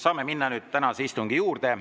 Saame minna nüüd tänase istungi juurde.